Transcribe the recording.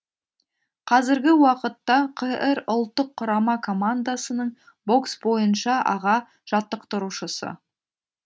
қазіргі уақытта қр ұлттық құрама командасының бокс бойынша аға жаттықтырушысы